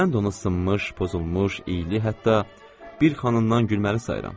Mən də onu sınmış, pozulmuş, iyli, hətta bir xanımdan gülməli sayıram.